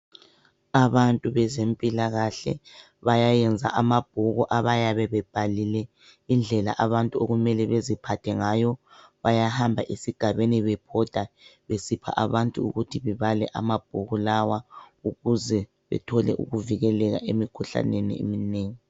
Abantu bezempilakahle bayayenza amabhuku abayabe bebhalile indlela abantu okumele beziphathe ngayo ,bayahamba esigabeni bebhoda besipha abantu ukuthi bebale amabhuku lawa ukuze bethole ukuvikeleka emkhuhlaneni eminengi.